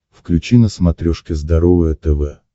включи на смотрешке здоровое тв